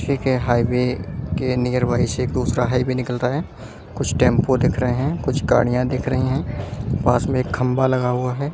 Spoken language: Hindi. के हाईवे के नियरबाई से एक दूसरा हाईवे निकल रहा है कुछ टेंपो दिख रहे हैं कुछ गाड़ियां दिख रही हैं पास में एक खंबा लगा हुआ है।